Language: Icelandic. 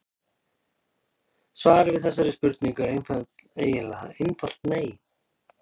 Svarið við þessari spurningu er eiginlega einfalt nei.